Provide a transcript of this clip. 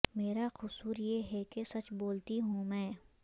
میرا قصور یہ ہے کہ سچ بولتی ہوں میں